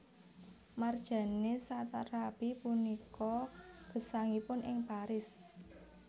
Marjane Satrapi sapunika gesangipun ing Paris